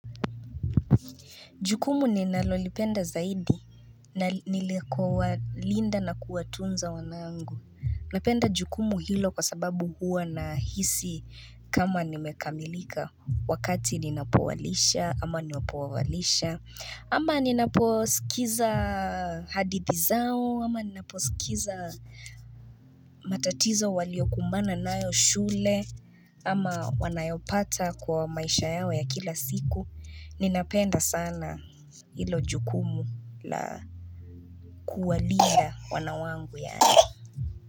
Jukumu ninalolipenda zaidi na ni kuwalinda na kuwatunza wanangu. Napenda jukumu hilo kwa sababu huwa nahisi kama nimekamilika wakati ninapowalisha ama napowalisha Ama ninaposikiza hadithi zao, ama ninaposikiza matatizo waliokumbana nayo shule, ama wanayopata kwa maisha yao ya kila siku, ninapenda sana hilo jukumu la kuwalinda wana wangu yaani.